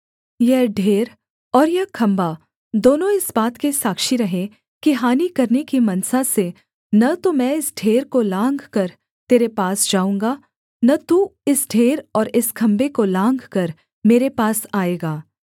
यह ढेर और यह खम्भा दोनों इस बात के साक्षी रहें कि हानि करने की मनसा से न तो मैं इस ढेर को लाँघकर तेरे पास जाऊँगा न तू इस ढेर और इस खम्भे को लाँघकर मेरे पास आएगा